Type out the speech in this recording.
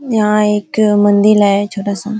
यहाँ एक मंदिर है छोटा सा।